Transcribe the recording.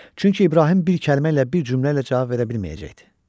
Çünki İbrahim bir kəlmə ilə, bir cümlə ilə cavab verə bilməyəcəkdi.